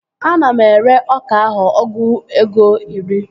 Ana m ere ọka ahụ ọgụ ego iri